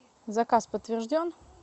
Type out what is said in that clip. заказ подтвержден